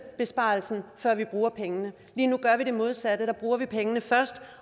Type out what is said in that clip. besparelsen før vi bruger pengene lige nu gør vi det modsatte vi bruger pengene først